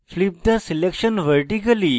flip the selection vertically